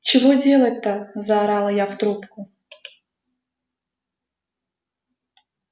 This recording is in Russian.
чего делать-то заорала я в трубку